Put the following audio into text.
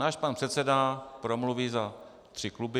Náš pan předseda promluví za tři kluby.